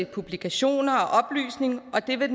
publikationer og oplysning og det vil